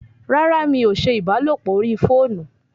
Rárá! mí o ṣe ìbálòpọ̀ orí fóònù